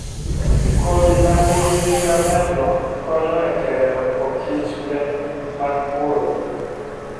Kodhi ma nigi nying maberno konyo e keyo okichmbe mag puodho.